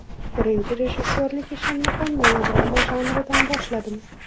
Birinchi rejissyorlik ishimni ham melodrama janridan boshladim.